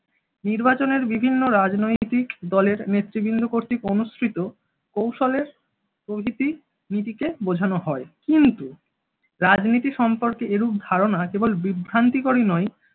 নির্বাচনের বিভিন্ন রাজনৈতিক দলের নেতৃবৃন্দ কর্তৃক অনুসৃত কৌশলের প্রভৃতি নীতিকে বোঝানো হয়। কিন্তু রাজনীতি সম্পর্কে এরুপ ধারণা কেবল বিভ্রান্তিকরই নয়